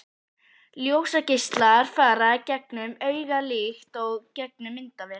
Ljósgeislar fara gegnum augað líkt og gegnum myndavél.